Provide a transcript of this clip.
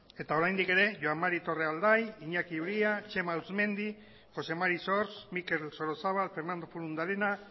eta oraindik ere joan mari torrealday iñaki uria txema auzmendi jose mari sors mikel sorozabal fernando furundarena